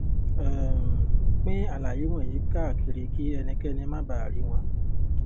um pín àlàyé wọ̀nyí káàkiri kí ẹnikẹ́ni má baà rí wọn.